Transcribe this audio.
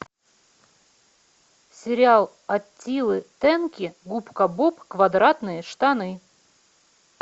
сериал аттилы тенки губка боб квадратные штаны